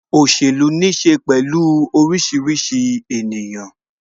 Òṣèlú ní ṣe pẹ̀lú orísìírísìí ènìyàn